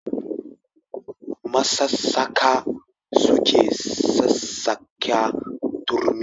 Masassaƙa suke sassaƙa turmi.